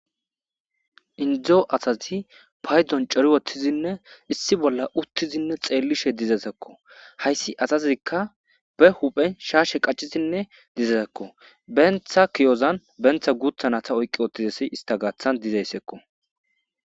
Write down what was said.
indzo asazi paydzon cori wottizinne issi bolla uttizinne xeellishe dizazakko hayssi asazikka be huphen shaashe qaccizinne dizazakko bentha kiyozan bentha guuthanata oyqqi ottizasi istagathan dizayssekko